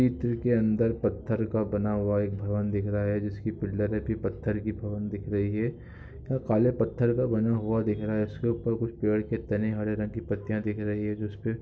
ईट के अंदर पत्थर का बना हुआ एक भवन दिख रहा है जिसकी पत्थर की भवन दिख रही है और काले पत्थर का बना हुआ दिख रहा है और इसके ऊपर पेड़ से टंगे हुए हरे रंग के पतिया दिख रही है जो इस प --